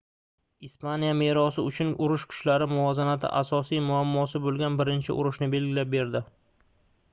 ispaniya merosi uchun urush kuchlar muvozanati asosiy muammosi boʻlgan birinchi urushni belgilab berdi